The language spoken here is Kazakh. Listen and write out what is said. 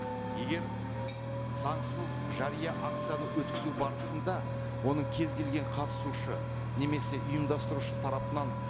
егер заңсыз жария акцияны өткізу барысында оның кез келген қатысушы немесе ұйымдастырушы тарапынан